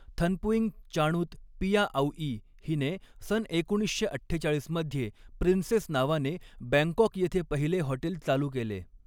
थन्पुइंग Chanut Piyaoui हिने सन एकोणीसशे अठ्ठेचाळीस मध्ये प्रिन्सेस नावाने बँकॉक येथे पहिले हॉटेल चालू केले.